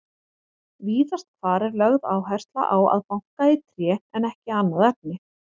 Víðast hvar er lögð áhersla á að banka í tré en ekki annað efni.